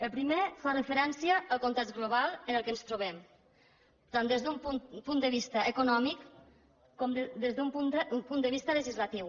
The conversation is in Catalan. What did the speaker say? el primer fa referència al context global en el qual ens trobem tant des d’un punt de vista econòmic com des d’un punt de vista legislatiu